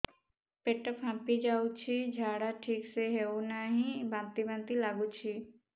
ପେଟ ଫାମ୍ପି ଯାଉଛି ଝାଡା ଠିକ ସେ ହଉନାହିଁ ବାନ୍ତି ବାନ୍ତି ଲଗୁଛି